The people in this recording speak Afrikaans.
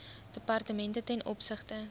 departemente ten opsigte